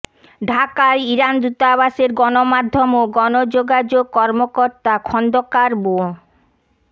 ঢাকায় ইরান দূতাবাসের গণমাধ্যম ও গণযোগাযোগ কর্মকর্তা খন্দকার মো